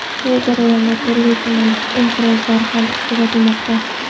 Bu jarayonda turli-tuman inqirozlar ham kuzatilmoqda.